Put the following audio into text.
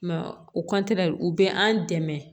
Mɛ o u bɛ an dɛmɛ